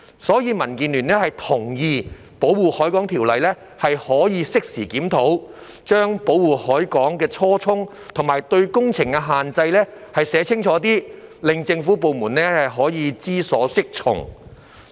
所以，民建聯同意《條例》可以適時檢討，將保護海港的初衷及對工程的限制寫得更清楚，令政府部門可以知所適從。